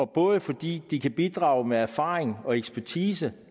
både fordi de kan bidrage med erfaring og ekspertise